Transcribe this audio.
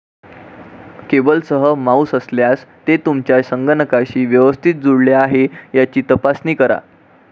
केबलसह mouse असल्यास, ते तुमच्या संगणकाशी व्यवस्थित जुळले आहे याची तपासणी करा.